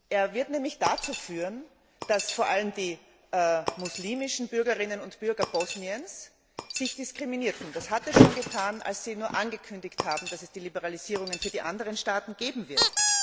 Er wird nämlich dazu führen, dass sich vor allem die muslimischen Bürgerinnen und Bürger Bosniens diskriminiert fühlen. Dies war schon der Fall, als Sie nur angekündigt haben, dass es Liberalisierungen für die anderen Staaten geben wird.